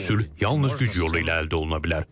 Sülh yalnız güc yolu ilə əldə oluna bilər.